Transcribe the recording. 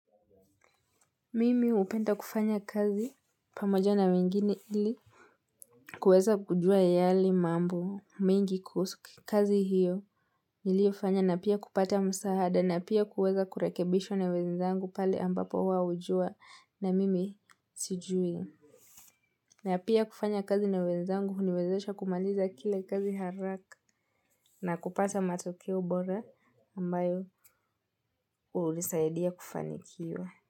Mimi upenda kufanya kazi pamoja na wengine ili kuweza kujua yale mambo mingi kuhusu ki kazi hiyo. Niliofanya na pia kupata msaada na pia kuweza kurekebishwa na wenzzangu pale ambapo wao ujua na mimi sijui. Na pia kufanya kazi na wenzangu uniwezesha kumaliza kile kazi haraka. Na kupata matokeo bora ambayo unisaidia kufanikiwa.